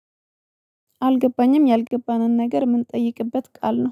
አልገባኝም ያልገባንን ነገር የምንጠይቅበት ቃል ነው።